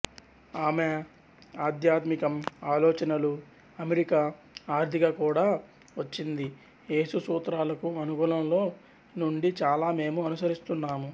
ఆమె ఆధ్యాత్మికం ఆలోచనలు అమెరికా ఆర్థిక కూడా వచ్చింది యేసు సూత్రాలకు అనుగుణలో నుండి చాలా మేము అనుసరిస్తున్నాము